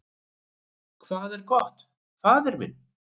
"""Hvað er gott, faðir minn?"""